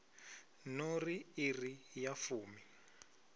no ri iri ya fumi